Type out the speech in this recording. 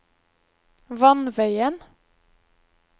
vannveien